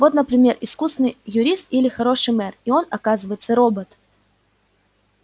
вот например искусный юрист или хороший мэр и он оказывается робот